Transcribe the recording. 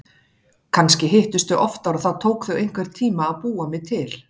Kannski hittust þau oftar og það tók þau einhvern tíma að búa mig til.